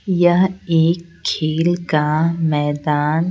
यह एक खेल का मैदान--